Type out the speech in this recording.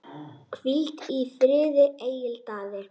Hvíl í friði, Egill Daði.